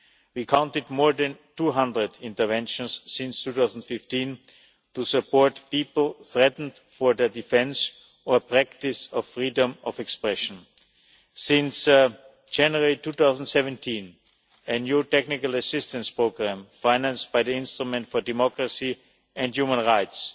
We counted more than 200 interventions since 2015 to support people threatened for their defence or practice of freedom of expression. Since January 2017, a new technical assistance programme, financed by the Instrument for Democracy and Human Rights,